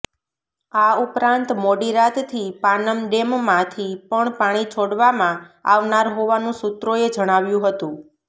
આ ઉપરાંત મોડી રાતથી પાનમ ડેમમાંથી પણ પાણી છોડવામાં આવનાર હોવાનું સૂત્રોએ જણાવ્યુ હતુ